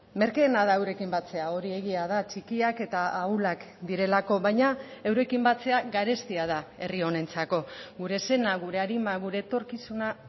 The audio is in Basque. merkeena da eurekin batzea hori egia da txikiak eta ahulak direlako baina eurekin batzea garestia da herri honentzako gure sena gure arima gure etorkizuna